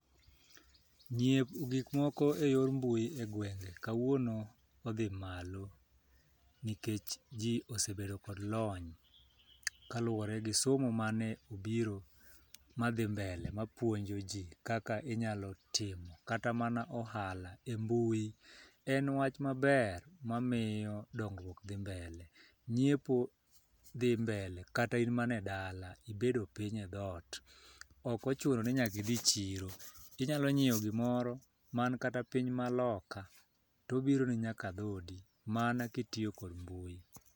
Nyiewo gik moko e yor mbui e gwenge kawuono odhi malo nikech, jii osebedo kod lony kaluwore gi somo mane obiro madhi mbele mapuonjo jii kaka inyalo timo kata mana ohala e mbui. En wach maber mamiyo dongruok dhi mbele nyiepo dhi mbele kata in mana e dala ibedo piny e dhoot, ok ochuno ni nyaki dhi chiro. Inyalo nyiewo gimoro man kata piny maloka tobiro ni nyake dhodi mana kitiyo kod mbui.